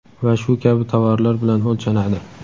va shu kabi tovarlar bilan o‘lchanadi.